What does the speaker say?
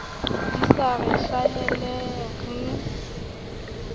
di sa re hlahele re